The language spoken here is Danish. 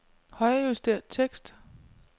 Højrejuster tekst.